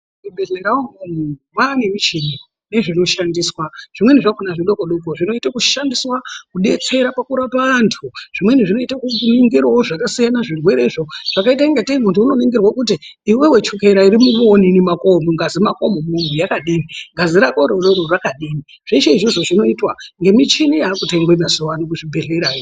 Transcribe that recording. Muzvibhedhlera mwoo umwomwo mwane michini nezvino shandiswa zvimweni zvakona zvidoko doko zvinoita zvakaita kushandiswa kudetsera pakurapa antu zvimweni zvinoitewo zviningirewo zvakasiyana zvirwerezvo zvakaite ngatei muntu unoningirwa kuti iwewe chukera iri mungazi mwako umwomwo yakadini ngazi yako iyoyo yakadini zveshe izvozvo zvinoitwa nemichini yakutengwe mazuwano kuzvi bhedhlerayo.